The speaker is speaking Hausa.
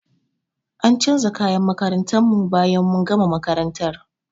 An canja kayan makarantar mu bayan mun gama makarantar.